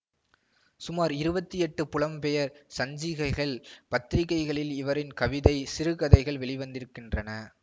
சுமார் இருபத்தி எட்டு புலம் பெயர் சஞ்சிகைகள் பத்திரிகைகளில் இவரின் கவிதை சிறுகதைகள் வெளிவந்திருக்கின்றன